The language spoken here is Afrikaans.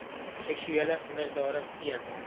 seksuele misdade teen